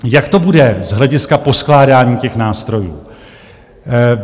Jak to bude z hlediska poskládání těch nástrojů?